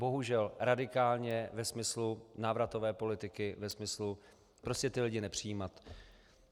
Bohužel radikálně ve smyslu návratové politiky, ve smyslu prostě ty lidi nepřijímat.